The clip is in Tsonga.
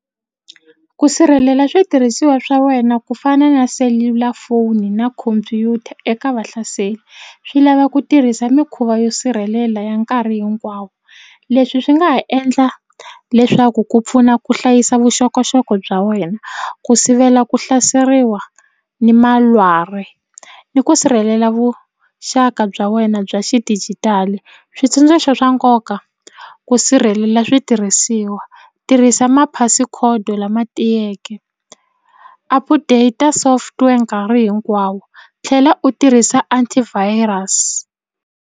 Ku sirhelela switirhisiwa swa wena ku fana na selulafoni na khompyuta eka vahlaseri swi lava ku tirhisa mikhuva yo sirhelela ya nkarhi hinkwawo leswi swi nga ha endla leswaku ku pfuna ku hlayisa vuxokoxoko bya wena ku sivela ku hlaseriwa ni malwari ni ku sirhelela vuxaka bya wena bya xidijitali switsundzuxo swa nkoka ku sirhelela switirhisiwa tirhisa maphasi khodo lama tiyeke update software nkarhi hinkwawo tlhela u tirhisa antivirus.